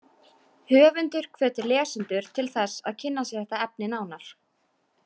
Höfundur hvetur lesendur til þess að kynna sér þetta efni nánar.